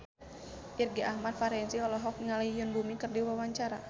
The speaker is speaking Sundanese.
Irgi Ahmad Fahrezi olohok ningali Yoon Bomi keur diwawancara